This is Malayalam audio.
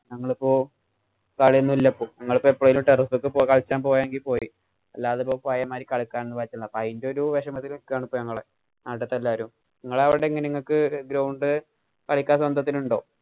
ഞങ്ങള്‍ക്ക് ഇപ്പൊ കളിയോന്നൂല്ല ഇപ്പൊ. ഞങ്ങള്‍ക്കിപ്പം terrace ഒക്കെ കളിക്കാന്‍ പോയെങ്കില്‍ പോയി. അല്ലാതെ ഇപ്പൊ പഴയ മാതിരി കളിക്കാനൊന്നും പറ്റില്ല. അതിന്‍റെ ഒരു വെഷമത്തില്‍ നില്‍ക്കുകയാണ് ഞങ്ങള്. അവിടുത്തെ എല്ലാരും. നിങ്ങള്‍ടെ അവിടെ എങ്ങനെയാ? ഇങ്ങക്ക് ground കളിക്കാന്‍ സ്വന്തത്തിനുണ്ടോ?